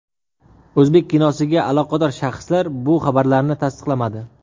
O‘zbek kinosiga aloqador shaxslar bu xabarlarni tasdiqlamadi.